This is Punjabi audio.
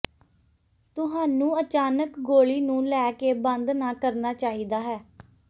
ਤੁਹਾਨੂੰ ਅਚਾਨਕ ਗੋਲੀ ਨੂੰ ਲੈ ਕੇ ਬੰਦ ਨਾ ਕਰਨਾ ਚਾਹੀਦਾ ਹੈ